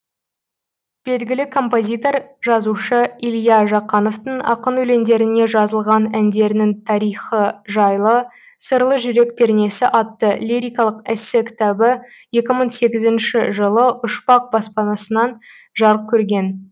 белгілі композитор жазушы илья жақановтың ақын өлеңдеріне жазылған әндерінің тарихы жайлы сырлы жүрек пернесі атты лирикалық эссе кітабы екі мың сегізінші жылы ұшпақ баспанасынан жарық көрген